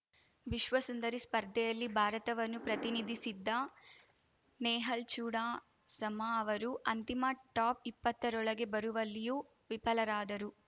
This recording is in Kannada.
ವಿಶ್ವಸುಂದರಿ ಸ್ಪರ್ಧೆಯಲ್ಲಿ ಭಾರತವನ್ನು ಪ್ರತಿನಿಧಿಸಿದ್ದ ನೇಹಲ್‌ ಚೂಡಾಸಮ ಅವರು ಅಂತಿಮ ಟಾಪ್‌ ಇಪ್ಪತರೊಳಗೆ ಬರುವಲ್ಲಿಯೂ ವಿಫಲರಾದರು